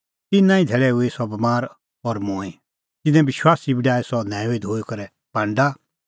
तिन्नां ई धैल़ै हूई सह बमार और मूंईं तिन्नैं विश्वासी बी डाही सह न्हैऊई धोई करै पांडा